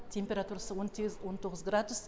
температурасы он сегіз он тоғыз градус